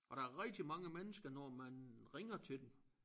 Og der er rigtig mange mennesker når man ringer til dem